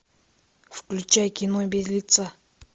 включай кино без лица